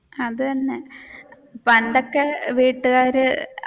അത് തന്നെ പണ്ടൊക്കെ വീട്ടുകാർ